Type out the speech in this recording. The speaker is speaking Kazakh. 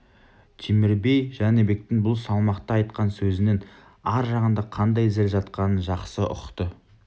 темір би жәнібектің бұл салмақты айтқан сөзінің ар жағында қандай зіл жатқанын жақсы ұқты